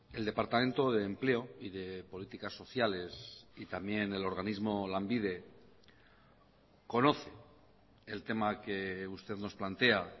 el departamento de empleo y de políticas sociales y también el organismo lanbide conoce el tema que usted nos plantea